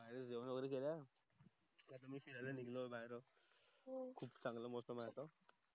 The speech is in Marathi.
खूप मस्त मोसम आहे बाहेर जेवण वगेरे केला आता मी फिरायला निगलो मी बाहेर आहो